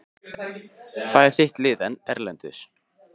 Hvað er þitt lið erlendis?